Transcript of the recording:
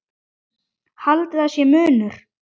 Haldið að sé munur?